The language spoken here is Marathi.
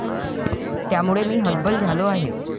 त्यामुळे मी हतबल झालो आहे.